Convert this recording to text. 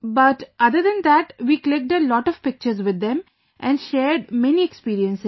But, other than that, we clicked a lot of pictures with them and shared many experiences